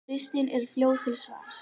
Kristín er fljót til svars.